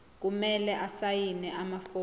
kumele asayine amafomu